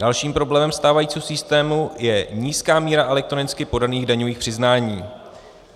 Dalším problémem stávajícího systému je nízká míra elektronicky podaných daňových přiznání.